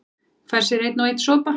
Fær sér einn og einn sopa